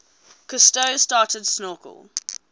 cousteau started snorkel